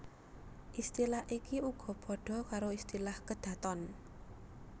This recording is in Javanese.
Istilah iki uga padha karo istilah kedaton